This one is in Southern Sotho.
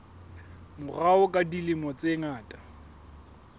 morao ka dilemo tse ngata